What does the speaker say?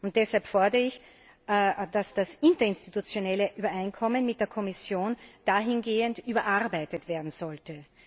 Und deshalb fordere ich, dass das interinstitutionelle Übereinkommen mit der Kommission dahingehend überarbeitet werden sollte.